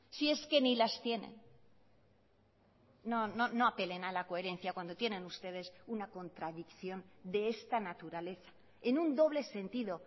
si es que ni las tienen no apelen a la coherencia cuando tienen ustedes una contradicción de esta naturaleza en un doble sentido